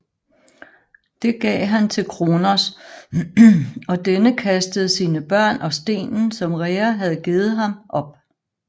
Det gav han til Kronos og denne kastede sine børn og stenen som Rhea havde givet ham op